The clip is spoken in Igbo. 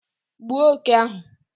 gbuo oke ahụ!